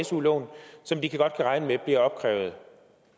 su lån som de godt kan regne med bliver opkrævet